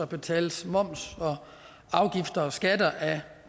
betales moms og afgifter og skatter af